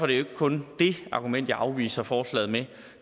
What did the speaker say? det ikke kun det argument jeg afviser forslaget med